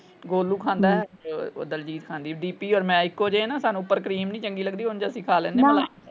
ਗੋਲੂ ਖਾਂਦਾ ਹੈ ਦਲਜੀਤ ਖਾਂਦੀ ਹੈ ਡੀ ਪੀ ਔਰ ਮੈਂ ਇਕੋ ਜੇ ਆ ਨਾ ਸਾਨੂੰ ਉਪਰ ਕਰੀਮ ਨੀ ਚੰਗੀ ਲੱਗਦੀ ਉਂਝ ਅਸੀਂ ਖਾ ਲੈਂਦੇ ਆ ਮਲਾਈ।